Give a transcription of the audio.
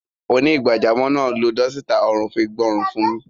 Onígbàjamọ̀ náà lo dọ́sítà ọrùn fi gbọn ọrùn mi.